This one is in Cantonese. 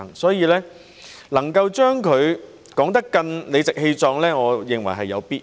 所以，能夠把這目標說得更理直氣壯，我認為是有必要的。